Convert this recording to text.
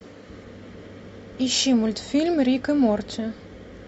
ищи мультфильм рик и морти